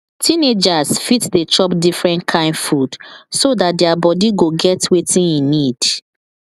teenagers fit dey chop different kain food so dat their body go get wetin e need